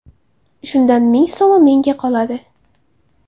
Shundan ming so‘mi menga qoladi.